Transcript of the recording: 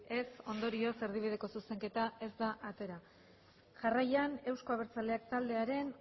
ez ondorioz erdibideko zuzenketa ez da atera jarraian euzko abertzaleak taldearen